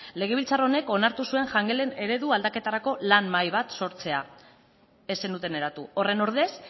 legebiltzar honek onartu zuen jangelen eredu aldaketarako lan mahai bat sortzea ez zenuten eratu horren ordez